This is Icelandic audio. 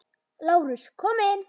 LÁRUS: Kom inn!